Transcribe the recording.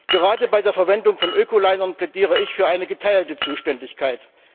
Gerade bei der Verwendung von Öko Linern plädiere ich für eine geteilte Zuständigkeit.